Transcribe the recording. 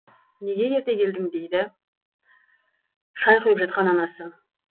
неге ерте келдің дейді шай құйып жатқан анасы